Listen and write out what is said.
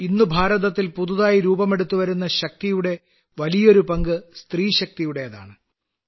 ഇന്ന് ഭാരതത്തിൽ പുതുതായി രൂപമെടുത്തുവരുന്ന ശക്തിയുടെ വളരെ വലിയൊരു പങ്ക് സ്ത്രീശക്തിയുടേതാണ്